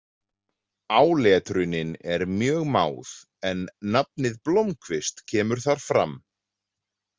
Áletrunin er mjög máð en nafnið Blomkvist kemur þar fram.